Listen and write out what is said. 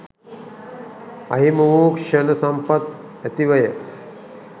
අහිමි වූ ක්ෂණ සම්පත් ඇතිවය